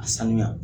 A sanuya